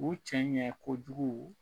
U cɛɲɛ kojugu